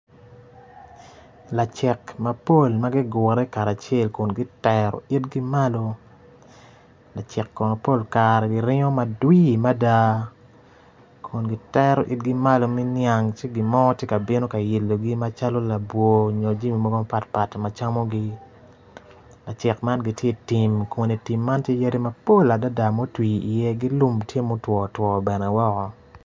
Lacik mapol magigure karacel kun gitero itgi malo, lacek kono pol kare giringo madwir mada kun gitere itgi malo meniang cigi gimo tye ka bino kayelogi calo labwor nyo jami mogo mapatpat macamo gi lacek man gitye i tim, kun itim man tye yadi mapol adada ma otwir i ye gi lum tye ma otwo two bene woko.